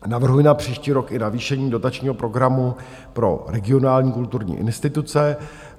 Navrhuji na příští rok i navýšení dotačního programu pro regionální kulturní instituce.